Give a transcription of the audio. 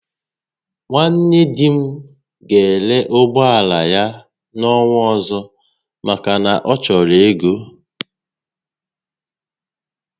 Nwanne di m ga ere ụgbọala ya n'ọnwa ọzọ maka na ọ chọrọ ego